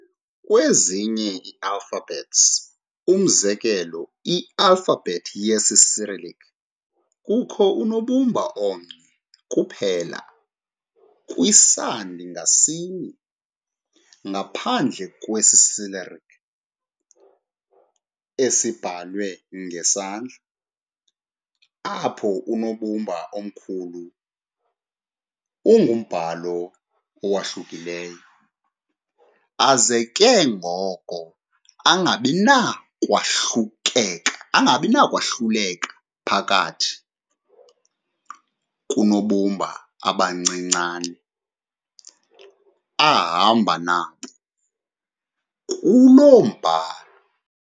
Kwezinye ii-alphabets, umzekelo i-alphabet yesiCyrillic, kukho unobumba omnye kuphela kwisandi ngasinye, ngaphandle kwesiCyrillic esibhalwe ngesandla, apho unobumba omkhulu ungumbhalo owahlukileyo - aze ke ngoko angabinakwahluleka phakathi koonobumba abancinane ahamba nabo kuloo mbhalo.